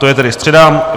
To je tedy středa.